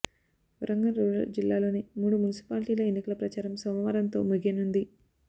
Warangal rural జిల్లాలోని మూడు మున్సిపాల్టీల ఎన్నికల ప్రచారం సోమవారంతో ముగియనుంది